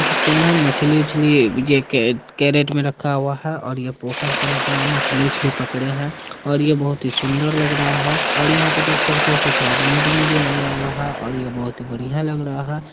देख सकते हैं मछली-वछली जे के कैरेट में रखा हुआ है और ये पोखर से लग रहा है मछली-वछली पकड़े हैं और ये बहुत ही सुंदर लग रहा है और यहां पे देख सकते हो कुछ आदमी-वादमी भी आया हुआ है और ये बहुत ही बढ़िया लग रहा है।